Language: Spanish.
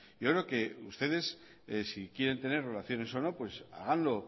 yo creo que ustedes si quieren tener relaciones o no háganlo